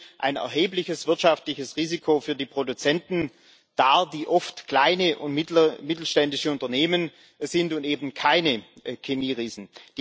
Und dies stellt ein erhebliches wirtschaftliches Risiko für die Produzenten dar, die oft kleine und mittelständische Unternehmen sind und eben keine Chemieriesen.